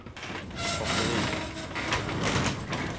batteri